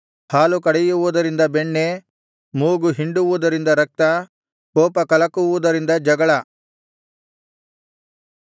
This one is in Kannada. ಹಾಲು ಕಡೆಯುವುದರಿಂದ ಬೆಣ್ಣೆ ಮೂಗು ಹಿಂಡುವುದರಿಂದ ರಕ್ತ ಕೋಪಕಲಕುವುದರಿಂದ ಜಗಳ